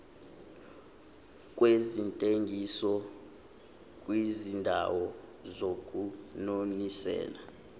kwezentengiso kwizindawo zokunonisela